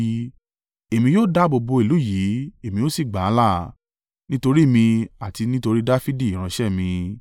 “Èmi yóò dáàbò bo ìlú yìí èmi ó sì gbà á là, nítorí mi àti nítorí Dafidi ìránṣẹ́ mi!”